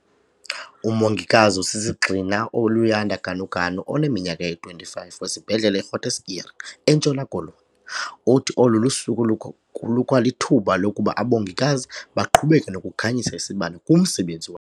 Umongikazi osisigxina uLuyanda Ganuganu oneminyaka eyi-25, wesiBhedlele i-Groote Schuur eNtshona Koloni, uthi olu suku lukwalithuba lokuba abongikazi baqhubeke nokukhanyisa isibane kumsebenzi wa.